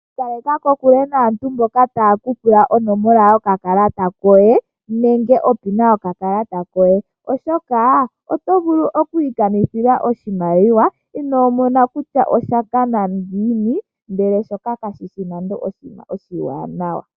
Ikaleka kokule naantu mboka taye kupula onomola nenge opina yokakalata koye, oshoka oto vulu okwiikanithila oshimaliwa inoomona kutya osha kana ngiini. Ihe shoka kashishi nande oshinima oshiwanawa.